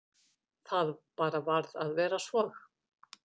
Það bara varð að vera svo.